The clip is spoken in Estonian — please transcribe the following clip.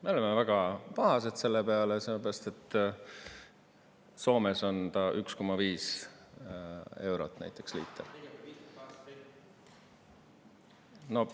Me oleme väga pahased selle peale, sellepärast et Soomes on ta 1,5 eurot näiteks liiter.